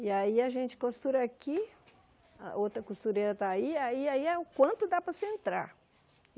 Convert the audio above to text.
E aí a gente costura aqui, a outra costureira está aí, aí aí é o quanto dá para você entrar.